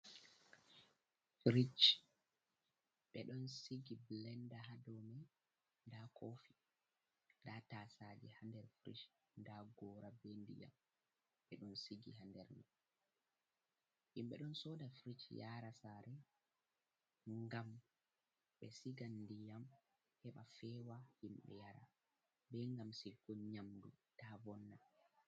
Firij, ɓe ɗon sigi Bilennda haa dow man, ndaa koofi, ndaa taasaaje haa nder Firij, ndaa Goora bee ndiyam haa nder man, himɓe ɗon sooda Firij yaara saare ngam ɓe siga ndiyam heɓa feewa himɓe yara, bee ngam sigugo nyaamndu taa vonna.